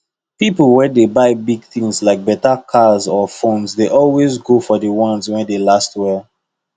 people wey dey buy big things like better cars or phones dey always go for ones wey dey last well